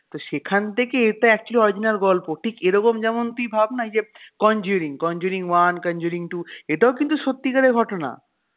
তো সেখান থেকে এটা actually original গল্প ঠিক এরকম যেমন তুই ভাবনা এই যে conjuring conjuring one conjuring two এটাও কিন্তু সত্যিকারের ঘটনা,